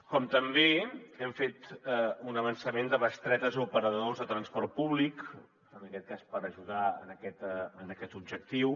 com també hem fet un avançament de bestretes a operadors de transport públic en aquest cas per ajudar en aquest objectiu